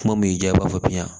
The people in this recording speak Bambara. Kuma min y'i diya b'a fɔ